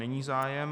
Není zájem.